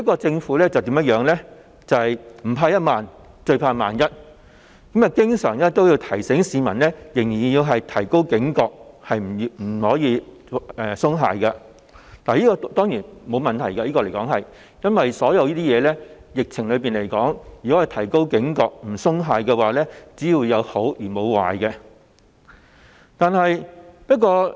政府不怕一萬，最怕萬一，經常提醒市民仍要提高警覺，不可鬆懈，這樣當然沒有問題，因為就疫情來說，市民提高警覺和不鬆懈，只有好處，沒有壞處。